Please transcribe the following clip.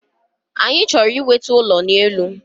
Anyi chọrọ inweta ụlọ n’elu